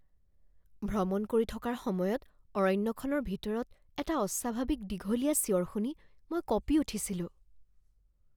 ভ্ৰমণ কৰি থকাৰ সময়ত অৰণ্যখনৰ ভিতৰত এটা অস্বাভাৱিক দীঘলীয়া চিঞৰ শুনি মই কঁপি উঠিছিলোঁ।